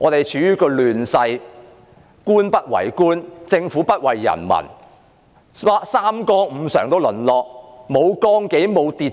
而是處於亂世：官不為官，政府不為人民，三綱五常淪落，沒有綱紀，沒有秩序。